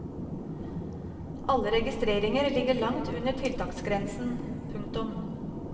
Alle registreringer ligger langt under tiltaksgrensen. punktum